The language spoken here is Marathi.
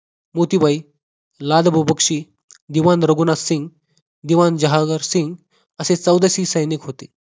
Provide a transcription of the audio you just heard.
मोतीबाई, लाडबबो बक्षी, दिवाण रघुनाथ सिंग दिवाण जहागरसिंग आशे चौदाशे सैनिक होते.